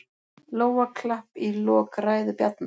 Lófaklapp í lok ræðu Bjarna